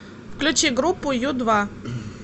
включи группу ю два